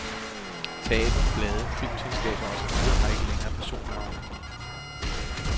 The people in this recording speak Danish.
Teatre, blade, filmselskaber og så videre har ikke længere personnavne.